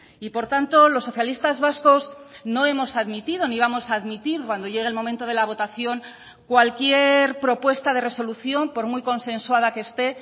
y por tanto los socialistas vascos no hemos admitido ni vamos a admitir cuando llegue el momento de la votación cualquier propuesta de resolución por muy consensuada que esté